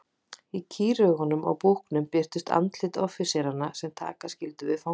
Í kýraugunum á búknum birtust andlit offíseranna sem taka skyldu við fanganum.